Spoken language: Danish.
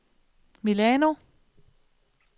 Milano